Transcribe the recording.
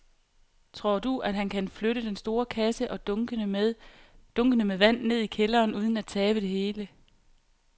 Tror du, at han kan flytte den store kasse og dunkene med vand ned i kælderen uden at tabe det hele?